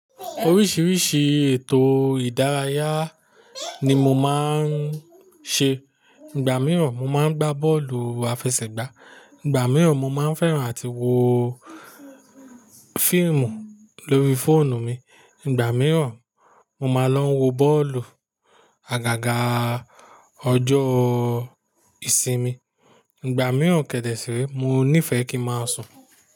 Oríṣiríṣi ètò ìdárayá ni mo máa ń ṣe. Ìgbà mìíràn mo máa ń gbá bọ́ọ̀lù àfẹsẹ̀gbá, ìgbà mìíràn mo máa ń fẹ́ran àti wo fíìmù lórí fóònù mi, ìgbà mìíràn mo máa lọ wo bọ́ọ̀lù àgàgà ọjọ́ ìsinmi, ìgbà mìíràn kèdè sí re mo nífẹ́ kí n a máa sùn.